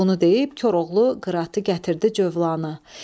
Bunu deyib Koroğlu qıratı gətirdi Cövlana.